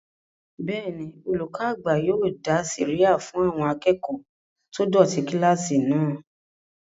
Bẹ́ẹ̀ni, olùkọ́ àgbà yóò dá sẹ̀ríyà fún àwọn akẹ́kọ̀ọ́ tó dọ̀tí kílásì náà